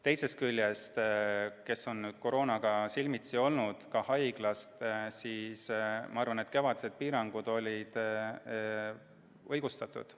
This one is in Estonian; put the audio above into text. Teisest küljest need, kes koroonaga on silmitsi olnud, ka haiglas, ma arvan, et kevadised piirangud olid õigustatud.